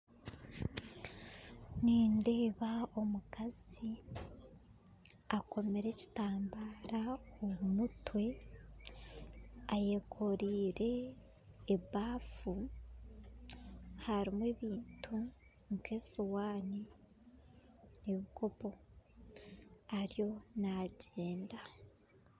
Nindeeba omukazi akoomire ekitambara omu mutwe ayekoraire ebaafu harimu ebintu nk'esuwaani n'ebikoopo ariyo nagyenda